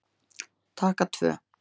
Taka tvö